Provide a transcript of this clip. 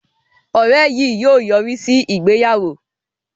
Òré yìí yóò yorisi ìgbéyàwó